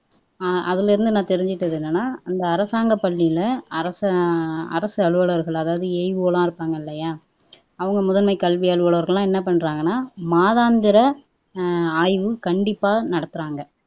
அதுல இருந்து நான் தெரிஞ்சுகிட்டது என்னன்னா இந்த அரசாங்க பள்ளியில அரசு அலுவலர்கள் அதாவது AEO எல்லாம் இருப்பாங்க இல்லையா அவங்க முதன்மை கல்வி அலுவலர்கள் எல்லாம் என்ன பண்றாங்கன்னா மாதாந்திர அஹ் ஆய்வு கண்டிப்பா நடத்துறாங்க